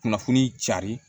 Kunnafoni cari